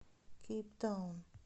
кейптаун